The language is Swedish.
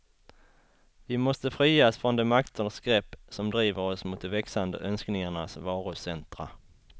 Vi måste frias från de makters grepp som driver oss mot de växande önskningarnas varucentra.